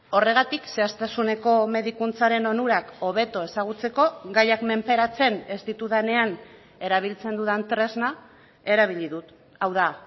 horregatik zehaztasuneko medikuntzaren onurak hobeto ezagutzeko gaiak menperatzen ez ditudanean erabiltzen dudan tresna erabili dut hau da